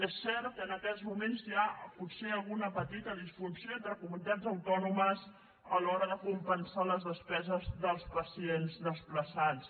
és cert que en aquests moments hi ha potser alguna petita disfunció entre comunitats autònomes a l’hora de compensar les despeses dels pacients desplaçats